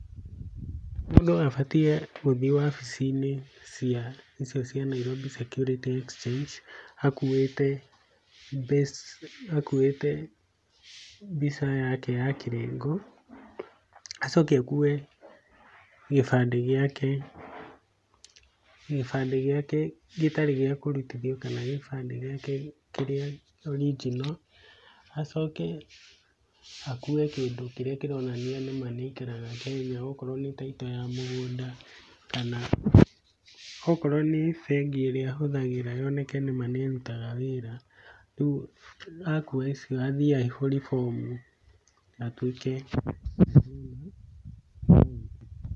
Mũndũ abatiĩ gũthiĩ wabici-inĩ cia icio cia Nairobi Securities Exchange akuĩte, akuĩte mbica yake ya kĩrengo, acoke akue gĩbandĩ gĩake, gĩbandĩ gĩake gĩtarĩ gĩa kũrutithio kana gĩbandĩ gĩake kĩrĩa original, acoke akue kĩndũ kĩrĩa kĩronania nĩma nĩaikaraga Kenya, okorwo nĩ title ya mũgũnda kana okorwo nĩ bengĩ ĩrĩa ahũthagĩra yoneke nĩma nĩĩrutaga wĩra, rĩu akua icio athiĩ aihũrie bomu atuĩke.